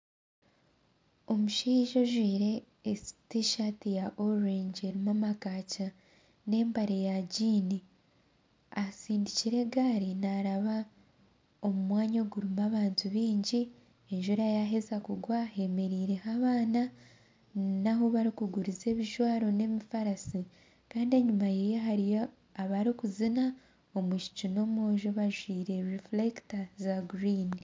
Omushaija ojwaire tishaati ya orengi erimu amakankya n'empare ya gyiini, asindikire egaari naaraba omu mwanya ogurimu abantu baingi. Enjura yaaheza kugwa hemereireho abaana n'ahu barikuguriza ebijwaro n'emifarisi. Mbwenu enyima ye hariyo abarikuzina omwishiki n'omwojo bajwaire rifurekita za guriini.